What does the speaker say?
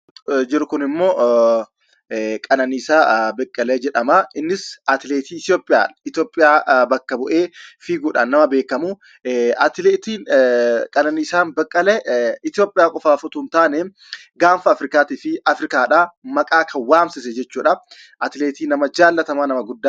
Jiru Kun immoo, Qananiisaa Baqqalee jedhamaa. Innis atileetii itiyoophiyaa, itoophiyaa bakka bu'ee fiiguudhaan nama beekamuu. Atileetiin Qananiisaa Baqqalee, itoophiyaa qofaaf osoo hin taanee, gaafa Afrikaa fi Afrikaadhaa maqaa kan waamsise jechuudhaa . Atileetii nama jaallatamaa, nama guddaadha.